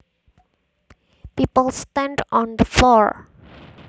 People stand on the floor